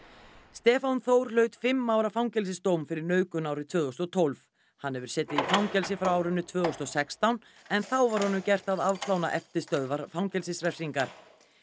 Stefán Þór hlaut fimm ára fangelsisdóm fyrir nauðgun árið tvö þúsund og tólf hann hefur setið í fangelsi frá árinu tvö þúsund og sextán en þá var honum gert að afplána eftirstöðvar fangelsisrefsingar